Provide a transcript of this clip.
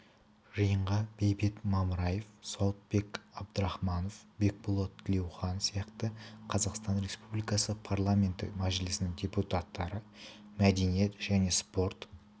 жиынға бейбіт мамраев сауытбек абдрахманов бекболат тілеухан сияқты қазақстан республикасы парламенті мәжілісінің депутаттары мәдениет және спорт